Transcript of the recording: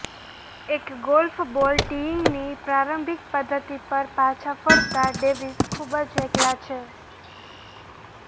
એક golf ball ટીઇંગની પ્રારંભિક પદ્ધતિ પર પાછા ફરતા ડેવિસ ખૂબ જ એકલા છે